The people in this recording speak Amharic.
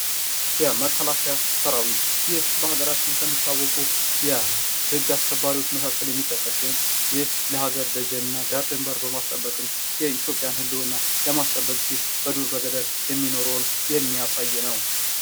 የመከላከያ ሰራዊት ይህ በሀገራችን ከሚታወቁ የህግ አስከባሪዎች መካከል የሚጠቀስ ሲሆን ይህ ለሀገር ደጀን እና ዳር ደንበር በማስጠበቅ የኢትዮጵያን ህልዉና ለማስጠበቅ ሲል በዱር በገደል የሚኖረውን የሚያሳይ ነው::